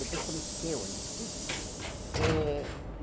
Depois começou a ter ônibus, né? Eh